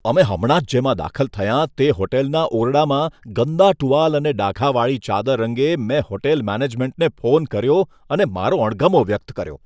અમે હમણાં જ જેમાં દાખલ થયાં તે હોટલના ઓરડામાં ગંદા ટુવાલ અને ડાઘાવાળી ચાદર અંગે મેં હોટલ મેનેજમેન્ટને ફોન કર્યો અને મારો અણગમો વ્યક્ત કર્યો.